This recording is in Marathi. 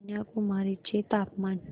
कन्याकुमारी चे तापमान